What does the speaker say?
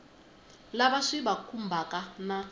lava swi va khumbhaka na